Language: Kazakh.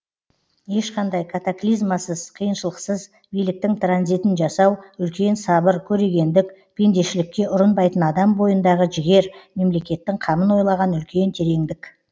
ешқандай катаклизмасыз қиыншылықсыз биліктің транзитін жасау үлкен сабыр көрегендік пендешілікке ұрынбайтын адам бойындағы жігер мемлекеттің қамын ойлаған үлкен тереңдік